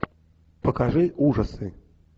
покажи ужасы